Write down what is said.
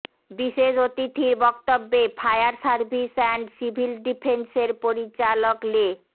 বিশেষ অতিথির বক্তব্যে ফায়ার সার্ভিস অ্যান্ড সিভিল ডিফেন্সের পরিচালক লে